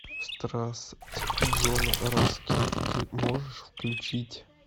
страсть джона раскина ты можешь включить